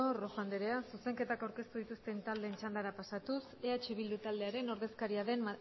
rojo anderea zuzenketak aurkeztu dituzten taldeen txanda pasatuz eh bildu taldearen ordezkaria den